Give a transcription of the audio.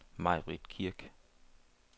Maibritt Kirk